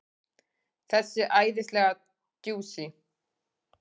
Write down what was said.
Þessi æðislega djúsí!